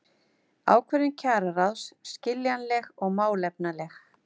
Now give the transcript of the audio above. Ákvörðun kjararáðs skiljanleg og málefnaleg